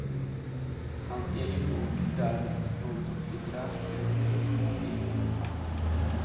Hans egen bok är däremot något av ett litterärt unikum i sin genre.